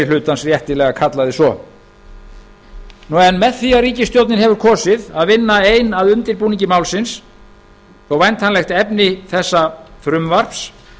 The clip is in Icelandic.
hlutans réttilega kallaði svo með því að ríkisstjórnin hefur kosið að vinna ein að undirbúningi málsins þó að væntanlegt efni þessa frumvarps